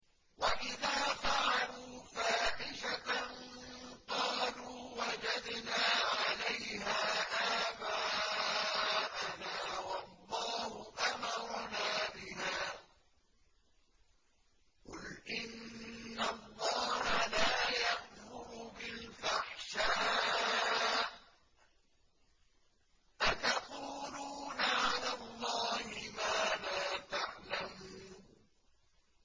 وَإِذَا فَعَلُوا فَاحِشَةً قَالُوا وَجَدْنَا عَلَيْهَا آبَاءَنَا وَاللَّهُ أَمَرَنَا بِهَا ۗ قُلْ إِنَّ اللَّهَ لَا يَأْمُرُ بِالْفَحْشَاءِ ۖ أَتَقُولُونَ عَلَى اللَّهِ مَا لَا تَعْلَمُونَ